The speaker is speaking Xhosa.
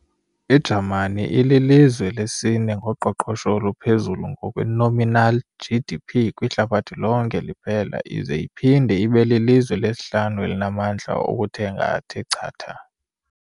I-Jamani ililizwe lesi-ne ngoqoqosho oluphezulu ngokwe-nominal GDP kwihlabathi lonke liphela ize iphinde ibelilizwe lesihlanu elinamandla okuthenga athe chatha.